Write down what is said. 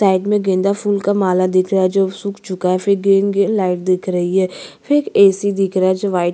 side में गेंदा फूल का माला दिख रहा है जो सुख चूका है फिर गेंद लाइव दिख रही है फिर ए.सी दिख रहा है जो वाइट --